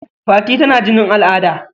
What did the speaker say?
Fati tana jinin al'ada..